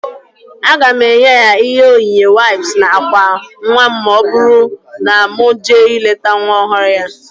Aga m enye ya ihe onyinye waips na ákwà nwa ma ọ bụrụ na mụ jee ileta nwa ọhụrụ ya